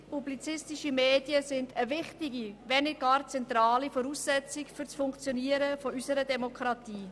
Unabhängige publizistische Medien sind eine wichtige, wenn nicht gar zentrale Voraussetzung für das Funktionieren unserer Demokratie.